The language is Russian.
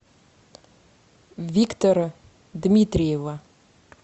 виктора дмитриева